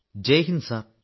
ജയ് ഹിന്ദ് സർ